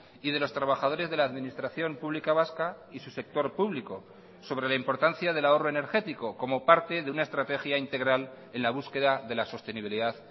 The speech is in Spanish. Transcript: y de los trabajadores de la administración pública vasca y su sector público sobre la importancia del ahorro energético como parte de una estrategia integral en la búsqueda de la sostenibilidad